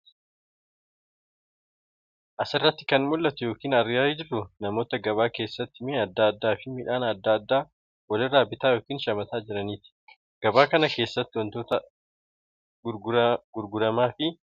Asirratti kan mul'atu yookiin argaa jirru namoota gabaa keessatti mi'a adda addaafi midhaan adda addaa walirraa bitaa yookiin shamataa jiraniiti. Gabaa kana keessattis wantoota gurgaramaafi bitamaa jiran baay'eetu jira. Isaan keessaa tokko uffatadha.